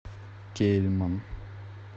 кейльман